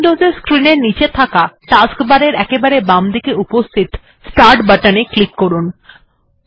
Windows এর screen এর নিচে থাকা টাস্কবার এর একেবারে বামদিকে উপস্হিত স্টার্ট বাটন টি তে ক্লিক করুন